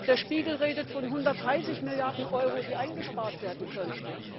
Der Spiegel redet von 130 Milliarden Euro, die eingespart werden könnten.